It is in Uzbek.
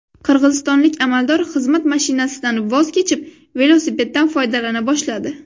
Qirg‘izistonlik amaldor xizmat mashinasidan voz kechib, velosipeddan foydalana boshladi .